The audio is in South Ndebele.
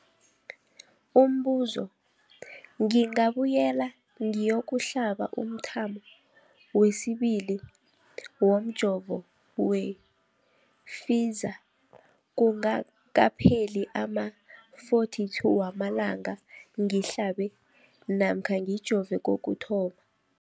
Umbuzo, ngingabuyela ngiyokuhlaba umthamo wesibili womjovo we-Pfizer kungakapheli ama-42 wamalanga ngihlabe namkha ngijove kokuthoma.